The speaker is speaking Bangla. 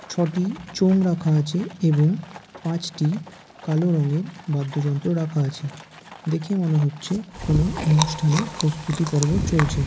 ছটি চোঙ রাখা আছে এবং পাঁচটি কালো রঙের বাদ্যযন্ত্র রাখা আছে দেখে মনে হচ্ছে কোন অনুষ্ঠানের প্রস্তুতিপর্ব চলছে ।